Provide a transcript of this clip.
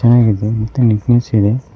ಮನೆ ಇದೆ ಮತ್ತು ನಿಟ್ ನೆಸ್ ಇದೆ.